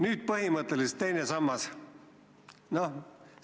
Nüüd põhimõtteliselt teine sammas kaob ära.